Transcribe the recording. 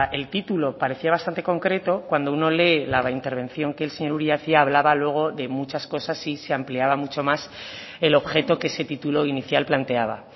el título parecía bastante concreto cuando uno lee la intervención que el señor uria hacía hablaba luego de muchas cosas y se ampliaba mucho más el objeto que ese título inicial planteaba